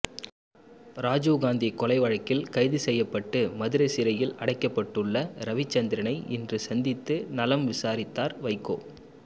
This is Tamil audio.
ராஜீவ் காந்தி கொலை வழக்கில் கைது செய்யப்பட்டு மதுரை சிறையில் அடைக்கப்பட்டுள்ள ரவிச்சந்திரனை இன்று சந்தித்து நலம் விசாரித்தார் வைகோ